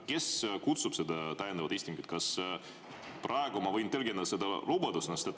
Kes kutsub selle täiendava istungi ja kas ma võin praegu tõlgendada seda lubadusena?